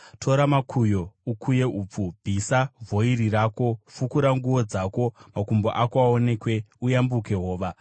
Tora makuyo ukuye upfu; bvisa vhoiri rako. Fukura nguo dzako, makumbo ako aonekwe, uyambuke hova.